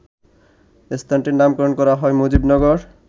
স্থানটির নামকরণ করা হয় মুজিবনগর